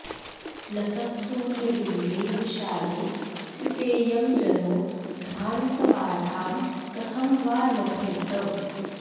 लसत्सूर्यबिम्बे विशाले स्थितेऽयं जनो ध्वान्तबाधां कथं वा लभेत